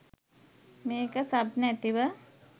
මේක සබ් නැතිව